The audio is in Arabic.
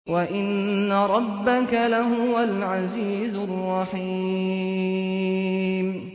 وَإِنَّ رَبَّكَ لَهُوَ الْعَزِيزُ الرَّحِيمُ